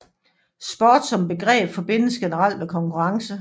Sport som begreb forbindes generelt med konkurrence